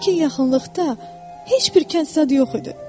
Lakin yaxınlıqda heç bir kənd yox idi.